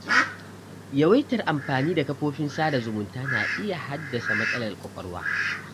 Yawaitar amfani da kafofin sada zumunta na iya haddasa matsalar kwakwalwa.